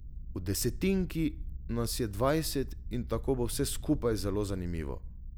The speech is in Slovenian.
V desetinki nas je dvajset in tako bo vse skupaj zelo zanimivo.